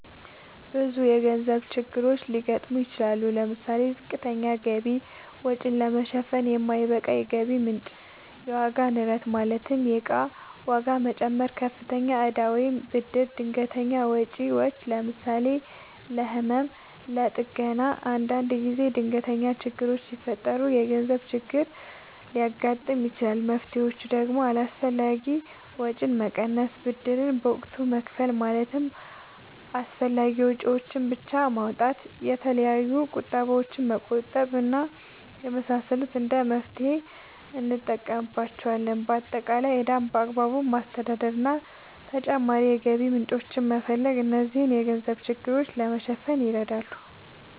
ብዙ የገንዘብ ችግሮች ሊያጋጥሙ ይችላሉ። ለምሳሌ፦ ዝቅተኛ ገቢ(ወጪን ለመሸፈን የማይበቃ የገቢ ምንጭ) ፣የዋጋ ንረት ማለትም የእቃ ዋጋ መጨመር፣ ከፍተኛ እዳ ወይም ብድር፣ ድንገተኛ ወጪዎች ለምሳሌ፦ ለህመም፣ ለጥገና እና አንዳንድ ጊዜ ድንገት ችግሮች ሲፈጠሩ የገንዘብ ችግር ሊያጋጥም ይችላል። መፍትሔዎቹ ደግሞ አላስፈላጊ ወጪን መቀነስ፣ ብድርን በወቅቱ መክፈል ማለትም አስፈላጊ ወጪዎችን ብቻ ማውጣት፣ የተለያዩ ቁጠባዎችን መቆጠብ እና የመሳሰሉት እንደ መፍትሔ እንጠቀምባቸዋለን። በአጠቃላይ ዕዳን በአግባቡ ማስተዳደር እና ተጨማሪ የገቢ ምንጮችን መፈለግ እነዚህን የገንዘብ ችግሮች ለማሸነፍ ይረዳሉ።